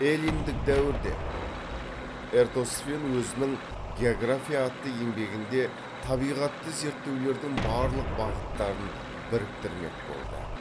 эллиндік дәуірде эратосфен өзінің география атты еңбегінде табиғатты зерттеулердің барлық бағыттарын біріктірмек болды